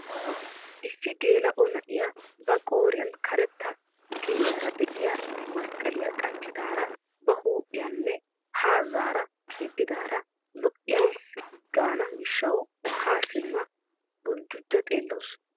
Issi geela'o na'iyaa ba qooriyaan karetta kiriyaara de'iyaa masqqaliyaa qachchidara ba huuphphiyaanne haa zaara yedidaara lo"ayis gaana gishshawu haa simma buljjujja xeellawus.